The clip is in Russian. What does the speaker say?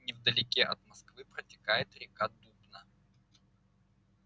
невдалеке от москвы протекает река дубна